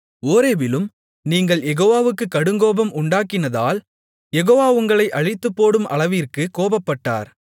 ஓரேபிலும் நீங்கள் யெகோவாவுக்குக் கடுங்கோபம் உண்டாக்கினதால் யெகோவா உங்களை அழித்துப்போடும் அளவிற்கு கோபப்பட்டார்